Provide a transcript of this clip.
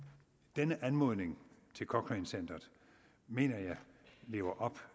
denne anmodning til cochrane centeret mener jeg lever op